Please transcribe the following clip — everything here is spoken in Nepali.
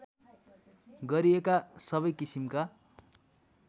गरिएका सबै किसिमका